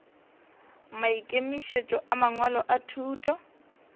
maikemišetšo a mangwalo a thuto